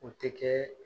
O tɛ kɛ